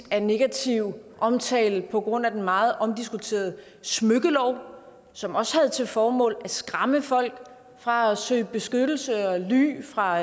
af negativ omtale på grund af den meget omdiskuterede smykkelov som også havde til formål at skræmme folk fra at søge beskyttelse og ly fra